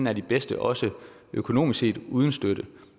er de bedste også økonomisk set uden støtte